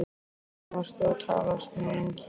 Við hvern varstu að tala svona lengi?